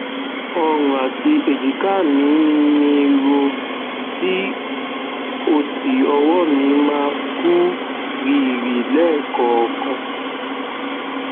ọrùn àti èjìká mí mí ń ro tí ó sì ọwọ mi máa kú rìrì lẹẹkọọkan